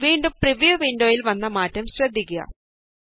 വീണ്ടും പ്രിവ്യൂ വിന്ഡോയില് വന്ന മാറ്റം ശ്രദ്ധിക്കുക